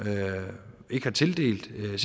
ikke har tildelt